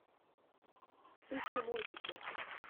ищи мультики